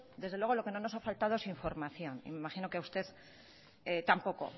desde luego lo que no nos ha faltado es información y me imagino que a usted tampoco